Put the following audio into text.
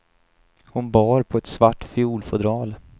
Hon bar på ett svart fiolfodral.